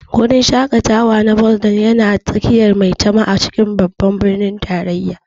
Guri shaƙatawa na Boulevard yana tsakiyar Maitama a cikin Babban Birnin Tarayya.